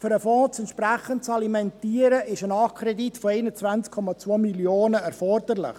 Um den Fonds entsprechend zu alimentieren, ist ein Nachkredit von 21,2 Mio. Franken erforderlich.